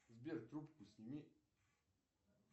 сбер трубку сними